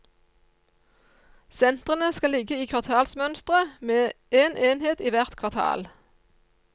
Sentrene skal ligge i kvartalsmønstre med en enhet i hvert kvartal.